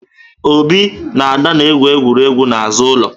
Obi na Ada na-egwu egwuregwu n'azụ ụlọ